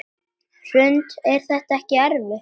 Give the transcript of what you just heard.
Hrund: Er þetta ekkert erfitt?